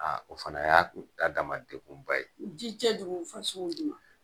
Aw o fana y'a k'u ta damana kouguba ye, ji cɛjugu fasow don.